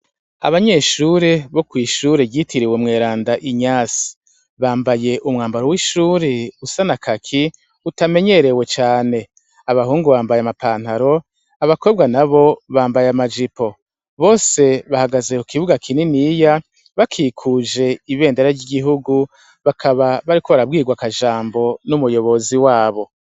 Abanyeshure bo kw'ishure ryitiriwe "umweranda Inyase". Bambaye umwambaro w'ishure usa na Kaki utamenyerewe cane. Abahungu bambaye amapantaro, abakobwa nabo bambaye amajipo. Bose bahagaze ku kibuga kininiya, bakikuje ibendera ry'igihugu bakaba bariko barabwirwa akajambo n'umuyobozi wabo.